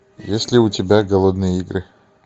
есть ли у тебя голодные игры